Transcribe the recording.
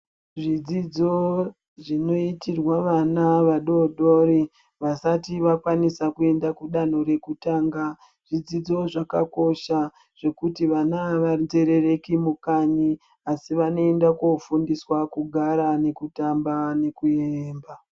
Zvidzidzo zvinoitirwa vana vadodori vasati vakwanisa kuenda kudanho rekutanga zvidzidzo zvakakosha zvekuti vana avanzerereki mukanyi asi vanoenda kofundiswa kugara nekutamba nekuyemba.